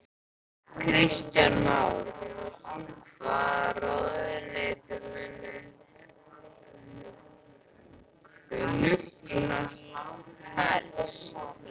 Kristján Már: Hvaða ráðuneyti mun þér hugnast helst?